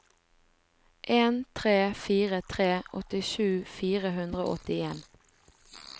en tre fire tre åttisju fire hundre og åttien